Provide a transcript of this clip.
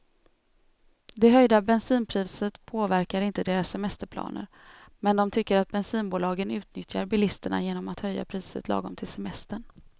Det höjda bensinpriset påverkar inte deras semesterplaner, men de tycker att bensinbolagen utnyttjar bilisterna genom att höja priset lagom till semestern.